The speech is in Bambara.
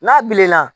N'a bilenna